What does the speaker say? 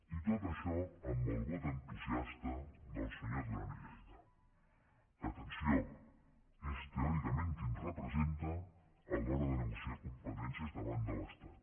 i tot això amb el vot entusiasta del senyor duran i lleida que atenció és teòricament qui ens representa a l’hora de negociar competències davant de l’estat